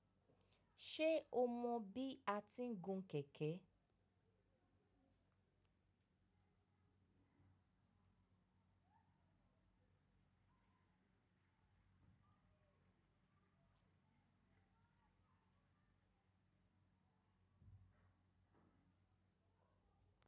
Ṣe o mọ bi a ti ń gún kẹ̀kẹ́?